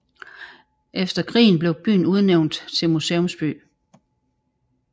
Efter krigen blev byen udnævnt til museumsby